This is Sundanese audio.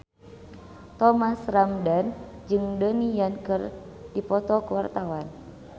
Thomas Ramdhan jeung Donnie Yan keur dipoto ku wartawan